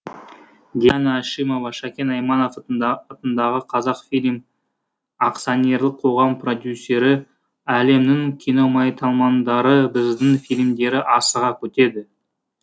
диана әшімова шәкен айманов атындағы қазақфильм акционерлік қоғам продюсері әлемнің киномайталмандары біздің фильмдері асыға күтеді